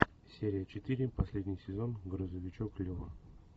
серия четыре последний сезон грузовичок лева